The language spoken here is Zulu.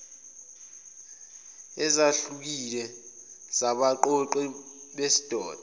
ezahlukile zabaqoqi besidoda